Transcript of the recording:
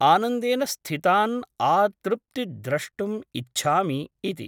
आनन्देन स्थितान् आतृप्ति द्रष्टुम् इच्छामि इति ।